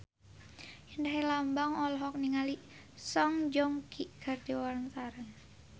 Indra Herlambang olohok ningali Song Joong Ki keur diwawancara